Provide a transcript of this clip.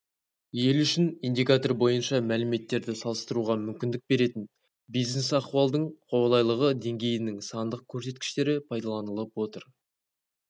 ел үшін индикатор бойынша мәліметтерді салыстыруға мүмкіндік беретін бизнес-ахуалдың қолайлылығы деңгейінің сандық көрсеткіштері пайдаланылып отыр